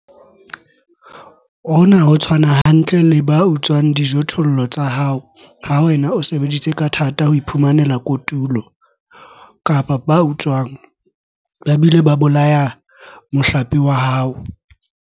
Hona ho tshwana hantle le ba utswang dijothollo tsa hao ha wena o sebeditse ka thata ho iphumanela kotulo, kapa ba utswang, ba bile ba bolaya mohlape wa hao.